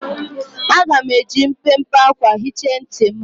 Aga m eji mpempe akwa hichaa ntị m.